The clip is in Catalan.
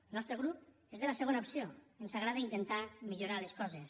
el nostre grup és de la segona opció ens agrada intentar millorar les coses